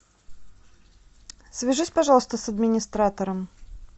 свяжись пожалуйста с администратором